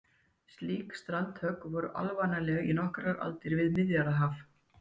Slík strandhögg voru alvanaleg í nokkrar aldir við Miðjarðarhafið.